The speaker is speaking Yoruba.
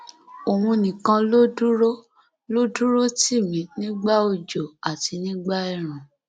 òun nìkan ló dúró ló dúró tì mí nígbà òjò àti nígbà ẹẹrùn